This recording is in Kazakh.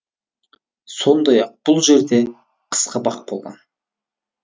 сондай ақ бұл жерде қысқы бақ болған